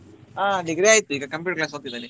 ಆ degree ಆಯ್ತು ಈಗ computer class ಗೆ ಹೋಗ್ತಿದ್ದಾನೆ.